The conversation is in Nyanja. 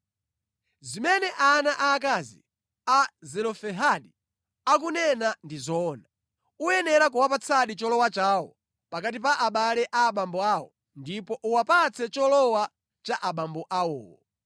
“Zimene ana aakazi a Zelofehadi akunena ndi zoona. Uyenera kuwapatsadi cholowa chawo pakati pa abale a abambo awo ndipo uwapatse cholowa cha abambo awowo.